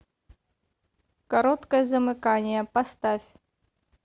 короткое замыкание поставь